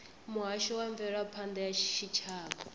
muhasho wa mveledzisophan ḓa ya tshitshavha